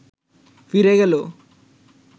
ফিরে গেল